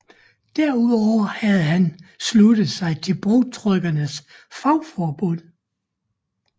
Derudover havde han sluttet sig til bogtrykkernes fagforbund